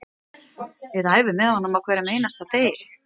Við æfum með honum á hverjum einasta degi